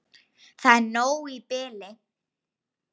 Það er nóg í bili.